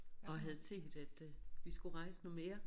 Og havde set at øh vi skulle rejse noget mere